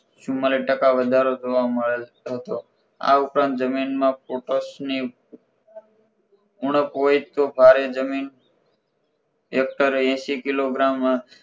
ચુમાલીસ ટકા વધારો જોવા મળેલો હતો આ ઉપરાંત જમીન માં પોટસની ની ઉણપ હોય તો ભારે જમીન એક્ટરે એશી કિલોગ્રામ